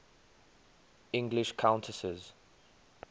english countesses